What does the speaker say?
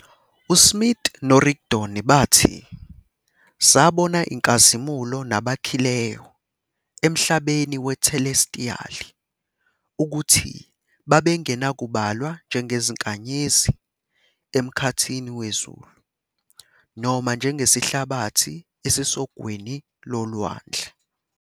USmith noRigdon bathi, "sabona inkazimulo nabakhileyo emhlabeni wethelestiyali, ukuthi babengenakubalwa njengezinkanyezi emkhathini wezulu, noma njengesihlabathi esisogwini lolwandle".